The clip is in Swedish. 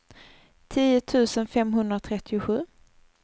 tio tusen femhundratrettiosju